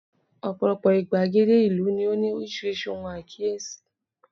ọpọlọpọ igbagede ìlú ni o ni orísirísi ohun akiyesi